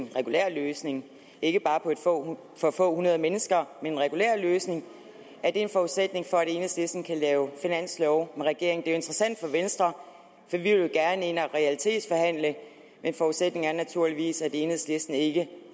regulær løsning ikke bare for få hundrede mennesker men en regulær løsning er det en forudsætning for at enhedslisten kan lave finanslov med regeringen interessant for venstre for vi vil gerne ind og realitetsforhandle men forudsætningen er naturligvis at enhedslisten ikke